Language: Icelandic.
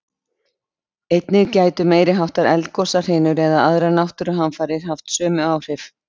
Einnig gætu meiri háttar eldgosahrinur eða aðrar náttúruhamfarir haft sömu áhrif.